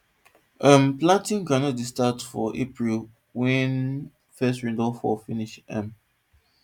um planting groundnut dey start for april wen first rain don fall finish um